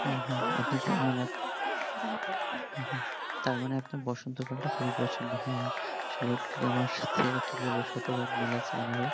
হ্যাঁ ওরকম সারাবছর থাকতো খুব ভালো লাগতো তার মানে আপনার বসন্ত কালটা খুবই পছন্দ। হ্যা আসলে আপনি আমার সাথে আর কি বলবো শতভাগ মিল আছে আমারো